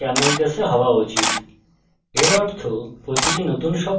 class name camelcase হওয়া উচিত